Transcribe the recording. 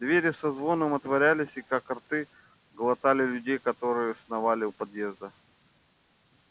двери со звоном отворялись и как рты глотали людей которые сновали у подъезда